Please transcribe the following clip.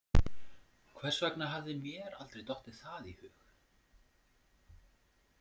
Hvers vegna hafði mér aldrei dottið það í hug?